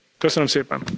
Köszönöm szépen!